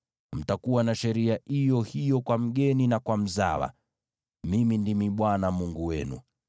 Mtakuwa na sheria iyo hiyo kwa mgeni na kwa mzawa. Mimi ndimi Bwana Mungu wenu.’ ”